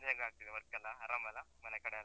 ನಿಮ್ದು ಹೇಗಾಗ್ತಿದೆ work ಎಲ್ಲ, ಆರಾಮಲ್ಲ? ಮನೆಕಡೆಯೆಲ್ಲ?